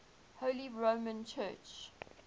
holy roman church